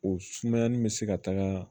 O sumayani bɛ se ka taga